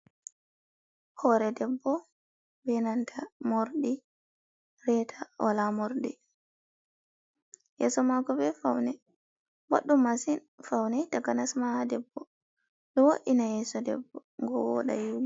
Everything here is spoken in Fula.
Hore debbo benanta morɗi reta wala morɗi, yeso mako ɓe faune boɗɗum masin faune taka nasma ha debbo, ɗo wo’ina yeso debbo go woda yeɗi.